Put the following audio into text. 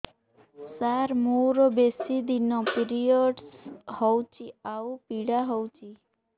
ସାର ମୋର ବେଶୀ ଦିନ ପିରୀଅଡ଼ସ ହଉଚି ଆଉ ପୀଡା ହଉଚି